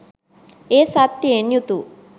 එය සත්‍යයෙන් යුතු